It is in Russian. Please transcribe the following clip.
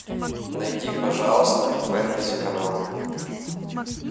найди пожалуйста фэнтези канал